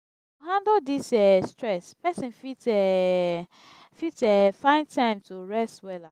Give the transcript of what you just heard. to handle dis um stress pesin fit um fit um find time to rest wella.